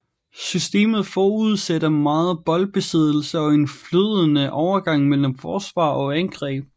Systemet forudsætter meget boldbesiddelse og en flydende overgang mellem forsvar og angreb